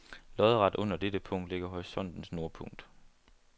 Lodret under dette punkt ligger horisontens nordpunkt.